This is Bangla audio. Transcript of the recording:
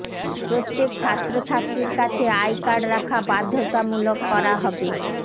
প্রত্যেক ছাত্রছাত্রীর কাছে আই কার্ড রাখা বাধ্যতামূলক করা হবে